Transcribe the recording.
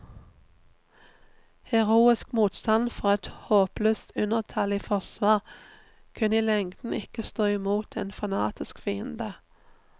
Heroisk motstand fra et håpløst undertallig forsvar kunne i lengden ikke stå imot en fanatisk fiende.